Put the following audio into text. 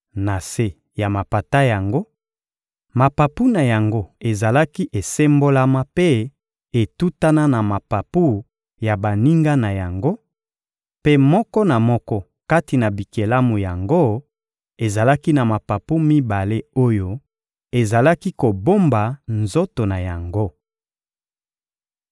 Na se ya mapata yango, mapapu na yango ezalaki esembolama mpe etutana na mapapu ya baninga na yango; mpe moko na moko kati na bikelamu yango ezalaki na mapapu mibale oyo ezalaki kobomba nzoto na yango.